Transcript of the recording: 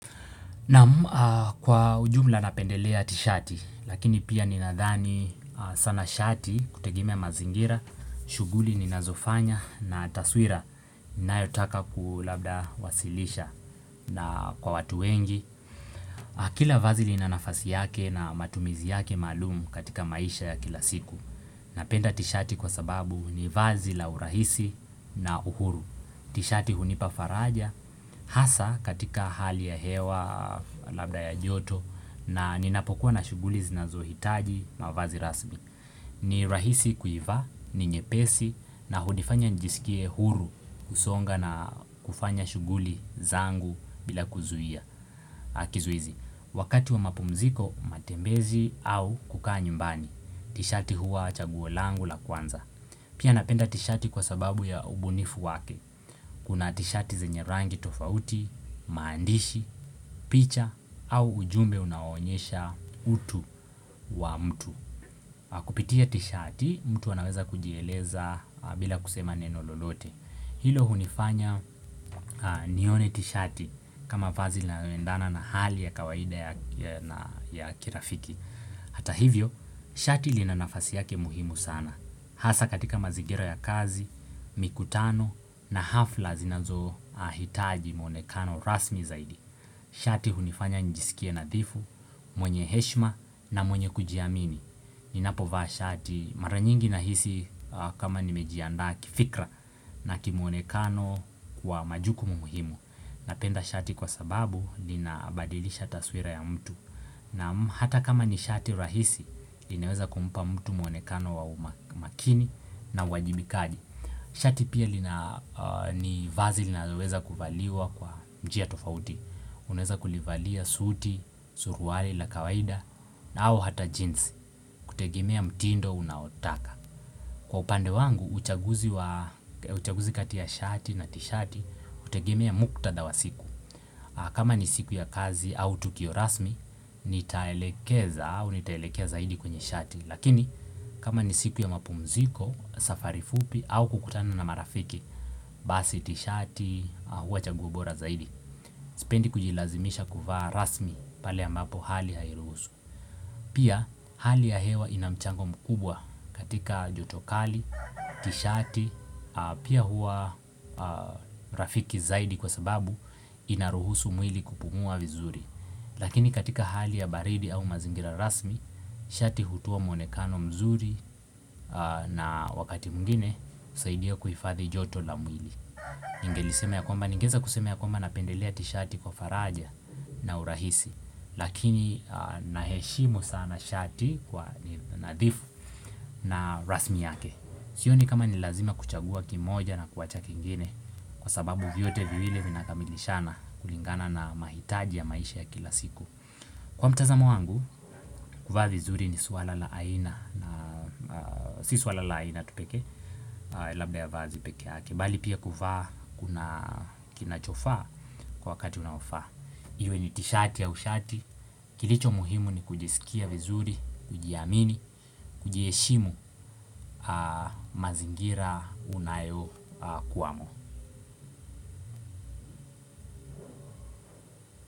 Naam kwa ujumla napendelea tishati lakini pia ninadhani sana shati kutegemea mazingira, shuguli ninazofanya na taswira ninayotaka labda kuwasilisha na kwa watu wengi. Kila vazi lina nafasi yake na matumizi yake maalum katika maisha ya kila siku. Napenda tishati kwa sababu ni vazi la urahisi na uhuru. Tishati hunipa faraja hasa katika hali ya hewa labda ya joto na ninapokuwa na shuguli zinazohitaji mavazi rasmi. Ni rahisi kuivaa, ni nyepesi na hunifanya nijisikie huru kusonga na kufanya shuguli zangu bila kuzuia kizuizi. Wakati wa mapumziko, matembezi au kukaa nyumbani. Tishati huwa chaguo langu la kwanza. Pia napenda tishati kwa sababu ya ubunifu wake. Kuna tishati zenye rangi tofauti, maandishi, picha au ujumbe unaonyesha utu wa mtu. Kupitia tishati mtu anaweza kujieleza bila kusema neno lolote Hilo hunifanya nione tishati kama vazi linaoendana na hali ya kawaida ya kirafiki Hata hivyo, shati lina nafasi yake muhimu sana Hasa katika mazingira ya kazi, mikutano na hafla zinazohitaji mwonekano rasmi zaidi Shati hunifanya njisikie nadhifu, mwenye heshma na mwenye kujiamini Ninapovaa shati mara nyingi nahisi kama nimejiandaa kifikra na kimuonekano wa majukumu muhimu Napenda shati kwa sababu ninabadilisha taswira ya mtu Naam hata kama ni shati rahisi inaweza kumpa mtu muonekano wa makini na uwajibikaji Shati pia ni vazi linaloweza kuvaliwa kwa njia tofauti Unaeza kulivalia suti, suruari la kawaida na au hata jeans kutegemea mtindo unaotaka. Kwa upande wangu, uchaguzi kati ya shati na tishati hutegemea muktadha wa siku. Kama ni siku ya kazi au tukio rasmi, nitaelekeza au nitaelekea zaidi kwenye shati. Lakini, kama ni siku ya mapumziko, safari fupi au kukutana na marafiki, basi tishati huwa chaguo bora zaidi. Sipendi kujilazimisha kuvaa rasmi pale anapo hali hairuhusu. Pia hali ya hewa ina mchango mkubwa katika joto kali, tishati, pia hua rafiki zaidi kwa sababu ina ruhusu mwili kupumua vizuri. Lakini katika hali ya baridi au mazingira rasmi, shati hutoa mwonekano mzuri na wakati mwingine husaidia kuhifadhi joto la mwili. Ningeeza kusema ya kwamba napendelea tishati kwa faraja na urahisi Lakini naheshimu sana shati kwa nadhifu na rasmi yake Sioni kama ni lazima kuchagua kimoja na kuwacha kingine Kwa sababu vyote viwili vinakamilishana kulingana na mahitaji ya maisha ya kila siku. Kwa mtazamo wangu, kuvaa vizuri ni suala la aina Si suala la aina tu pekee, labda ya vazi pekeake bali pia kuvaa kuna kinachofaa kwa wakati unaofaa. Iwe ni tishati au shati. Kilicho muhimu ni kujisikia vizuri, kujiamini, kujieshimu mazingira unayokuwamo.